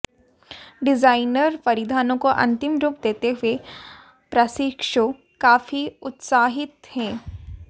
designer परिधानों को अंतिम रूप देते हुए प्रशिक्षु काफी उत्साहित हैं